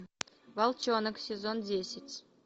волчонок сезон десять